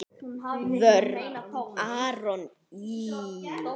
Vörn: Aron Ý.